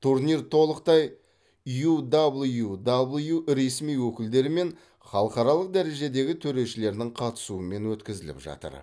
турнир толықтай ю дабэл ю дабэл ю ресми өкілдері мен халықаралық дәрежедегі төрешілерінің қатысуымен өткізіліп жатыр